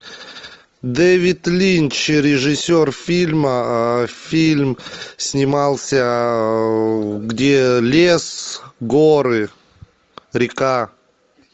дэвид линч режиссер фильма фильм снимался где лес горы река